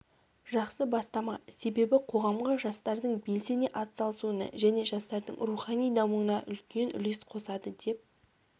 жақсы бастама себебі қоғамға жастардың белсене атсалысуына және жастардың рухани дамуына үлкен үлес қосады деп